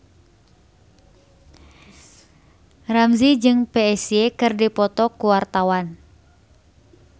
Ramzy jeung Psy keur dipoto ku wartawan